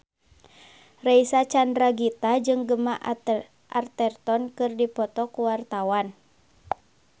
Reysa Chandragitta jeung Gemma Arterton keur dipoto ku wartawan